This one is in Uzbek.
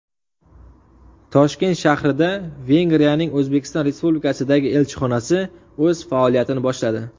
Toshkent shahrida Vengriyaning O‘zbekiston Respublikasidagi elchixonasi o‘z faoliyatini boshladi.